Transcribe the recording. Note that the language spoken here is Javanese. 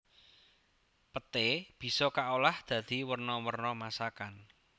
Peté bisa kaolah dadi werna werna masakan